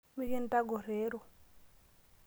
Mikintagorr ero.